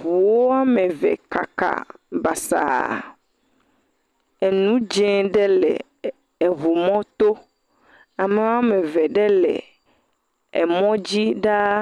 Ŋuwo eve kaka basaa. Nu dzɛ̃ aɖe le ŋumɔ to. Ame eve ɖe le mɔ dzi ɖaa.